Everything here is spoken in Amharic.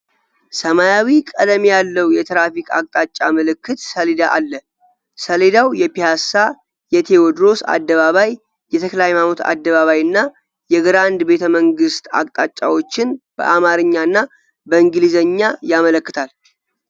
ሰማያዊ ቀለም ያለው የትራፊክ አቅጣጫ ምልክት ሰሌዳ አለ። ሰሌዳው የፒያሳ፣ የቴዎድሮስ አደባባይ፣ የተ/ሃይማኖት አደባባይ እና የግራንድ ቤተመንግስት አቅጣጫዎችን በአማርኛ እና በእንግሊዝኛ ያመለክታል።